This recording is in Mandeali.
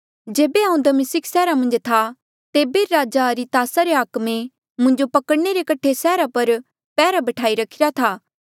जेबे हांऊँ दमिस्क सैहरा मन्झ था तेबे राजा अरितास रे हाकमे मुंजो पकड़णे रे कठे सैहरा पर पैहरा बैठाई रखिरा था